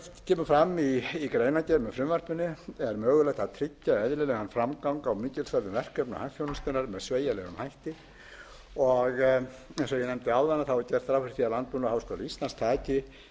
kemur fram í greinargerð með frumvarpinu er mögulegt að tryggja eðlilegan framgang á mikilsverðum verkefnum hagþjónustunnar með sveigjanlegum hætti og eins og ég nefndi áðan er gert ráð fyrir að landbúnaðarháskóli íslands taki við